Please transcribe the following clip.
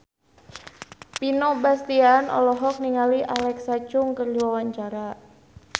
Vino Bastian olohok ningali Alexa Chung keur diwawancara